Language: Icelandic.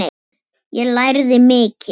Ég lærði mikið.